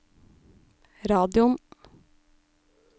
radioen